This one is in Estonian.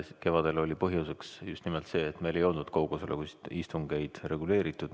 Kevadel oli põhjuseks just nimelt see, et meil ei olnud kaugosalusega istungeid reguleeritud.